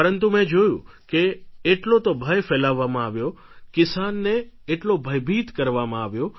પરંતુ મેં જોયું કે એટલો તો ભય ફેલાવવામાં આવ્યો કિસાનને એટલો ભયભીત કરવામાં આવ્યો